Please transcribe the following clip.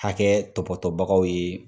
Hakɛ tɔpɔtɔbagaw ye